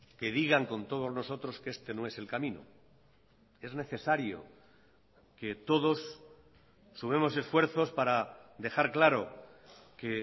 que digan con todos nosotros que este no es el camino es necesario que todos sumemos esfuerzos para dejar claro que